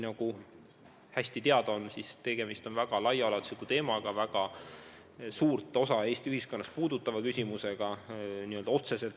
Nagu hästi teada, on tegemist väga laiaulatusliku teemaga, väga suurt osa Eesti ühiskonnast puudutava küsimusega.